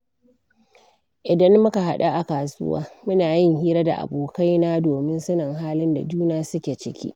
Idan muka haɗu a kasuwa, muna yin hira da abokaina domin sanin halin da juna suke ciki.